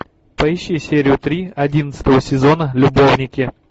поищи серию три одиннадцатого сезона любовники